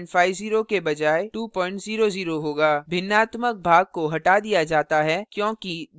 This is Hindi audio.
भिन्नात्मक भाग को हटा दिया जाता है क्योंकि दोनों ही ऑपरेंड a और b इंटीजर हैं